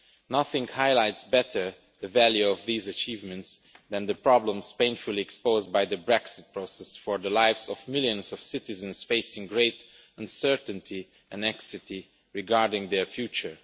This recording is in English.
Nothing highlights better, the value of these achievements and the problems painfully exposed by the Brexit process for the lives of millions of citizens facing great uncertainty and anxiety regarding their future.